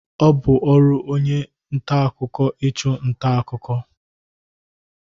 Ọ bụ ọrụ onye nta akụkọ ịchụ nta akụkọ.